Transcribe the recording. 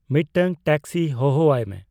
ᱢᱤᱫᱴᱟᱝ ᱴᱮᱠᱥᱤ ᱦᱚᱦᱚ ᱟᱭ ᱢᱮ